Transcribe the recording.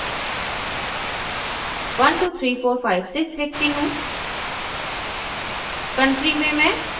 pin/zip में 123456 लिखती हूँ